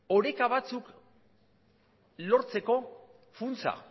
oreka batzuk lortzeko funtsa